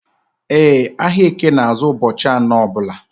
E, ahịa eke na azụ ụbọchị anọ ọbula